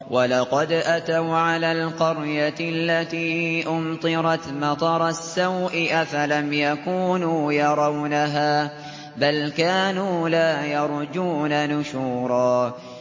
وَلَقَدْ أَتَوْا عَلَى الْقَرْيَةِ الَّتِي أُمْطِرَتْ مَطَرَ السَّوْءِ ۚ أَفَلَمْ يَكُونُوا يَرَوْنَهَا ۚ بَلْ كَانُوا لَا يَرْجُونَ نُشُورًا